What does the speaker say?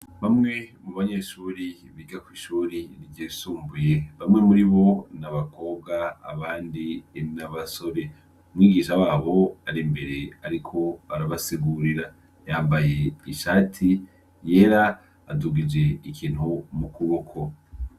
Bamwe mu banyeshuri biga kw'ishuri ryisumbuye, bamwe muribo n’abakobwa abandi N’abasore, umwigisha wabo ari imbere ariko arabasigurira, yambaye ishati yera adugije ikintu mu kuboko.